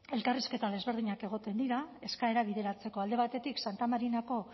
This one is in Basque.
elkarrizketa ezberdinak egoten dira eskaera bideratzeko alde batetik santa marinako